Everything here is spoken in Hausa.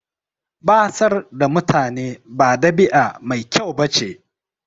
Batsar da mutane ba ɗabi'a mai kyau ba ce.